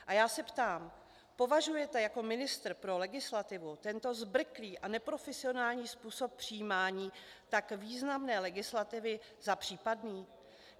A já se ptám: Považujete jako ministr pro legislativu tento zbrklý a neprofesionální způsob přijímání tak významné legislativy za případný?